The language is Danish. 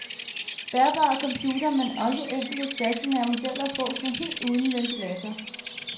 Bærbare computere, men også enkelte stationære modeller, fås nu helt uden ventilator.